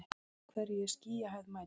úr hverju er skýjahæð mæld